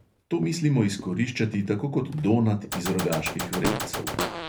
To mislimo izkoriščati tako kot donat iz rogaških vrelcev.